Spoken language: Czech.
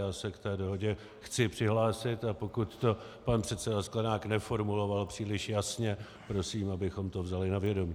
Já se k té dohodě chci přihlásit, a pokud to pan předseda Sklenák neformuloval příliš jasně, prosím, abychom to vzali na vědomí.